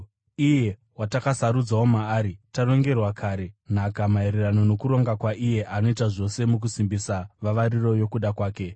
Iye watakasarudzwawo maari, tarongerwa kare nhaka maererano nokuronga kwaiye anoita zvose mukusimbisa vavariro yokuda kwake,